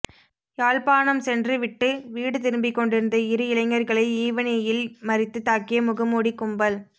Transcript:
யாழ்ப்பாணம் சென்று விட்டு வீடு திரும்பிக் கொண்டிருந்த இரு இளைஞர்களை ஈவினையில் மறித்துத் தாக்கிய முகமூடிக் கும்பல்